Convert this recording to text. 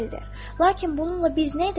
Lakin bununla biz nə edə bilərik?